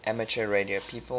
amateur radio people